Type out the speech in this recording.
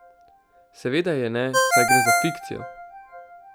Seveda je ne, saj gre za fikcijo!